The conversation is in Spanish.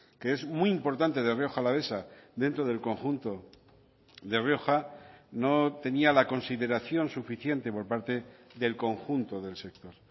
que es muy importante de rioja alavesa dentro del conjunto de rioja no tenía la consideración suficiente por parte del conjunto del sector